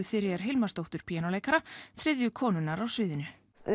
Þuríðar Hilmarsdóttur píanóleikara þriðju konunnar á sviðinu